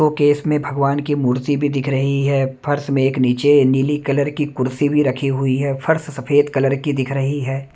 वो केश में भगवान की मूर्ति भी दिख रही है फर्श में एक नीचे नीली कलर की कुर्सी भी रखी हुई है फर्श सफेद कलर की दिख रही है।